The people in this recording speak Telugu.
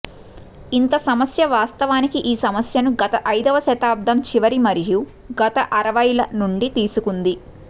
ఇంత సమస్య వాస్తవానికి ఈ సమస్యను గత ఐదవ శతాబ్దం చివరి మరియు గత అరవైల నుండి తీసుకుంది